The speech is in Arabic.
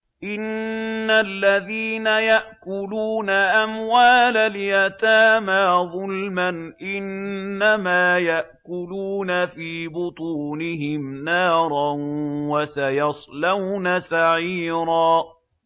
إِنَّ الَّذِينَ يَأْكُلُونَ أَمْوَالَ الْيَتَامَىٰ ظُلْمًا إِنَّمَا يَأْكُلُونَ فِي بُطُونِهِمْ نَارًا ۖ وَسَيَصْلَوْنَ سَعِيرًا